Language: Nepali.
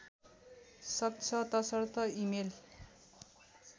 सक्छ तसर्थ इमेल